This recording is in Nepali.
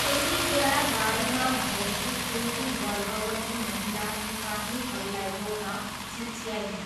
त्यतिबेला गाडीमा भएकी एउटी गर्भवती महिला सिपाहीहरूलाई रोक्न चिच्याइन्।